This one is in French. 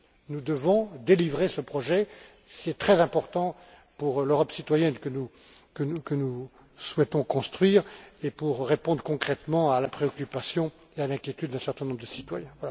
Nous devons mener à bien ce projet, c'est très important pour l'Europe citoyenne que nous souhaitons construire et pour répondre concrètement à la préoccupation et à l'inquiétude d'un certain nombre de citoyens.